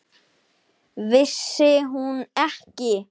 Vissi hún ekki!